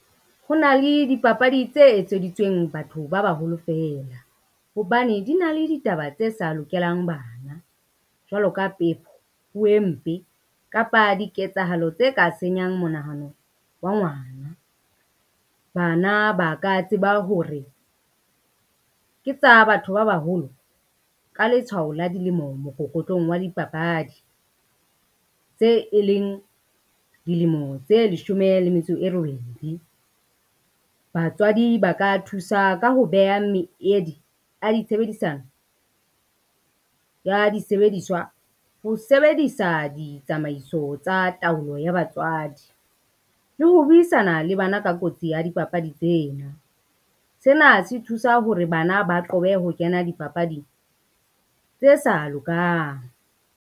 Ho na le dipapadi tse etseditsweng batho ba baholo feela, hobane di na le ditaba tse sa lokelang bana. Jwalo ka pepo, puo e mpe kapa diketsahalo tse ka senyang monahano wa ngwana. Bana ba ka tseba hore ke tsa batho ba baholo, ka letshwao la dilemo mokokotlong wa dipapadi tse e leng dilemo tse leshome le metso e robedi. Batswadi ba ka thusa ka ho beha meedi a di tshebedisano ya disebediswa ho sebedisa ditsamaiso tsa taolo ya batswadi, le ho buisana le bana ka kotsi ya dipapadi tsena. Sena se thusa hore bana ba qobe ho kena dipapading tse sa lokang.